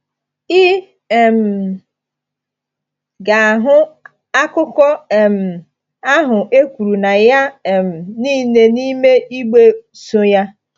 Ị um ga-ahụ akụkọ um ahụ e kwuru na ya um niile n’ime igbe so ya.